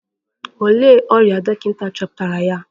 Olee ọrịa dọkịta chọpụtara ya?